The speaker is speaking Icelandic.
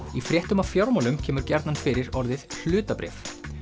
í fréttum af fjármálum kemur gjarnan fyrir orðið hlutabréf